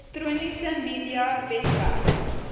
elektroniese media webwerf